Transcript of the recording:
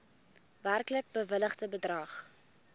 werklik bewilligde bedrag